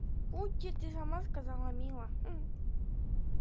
ути ты сама сказала мило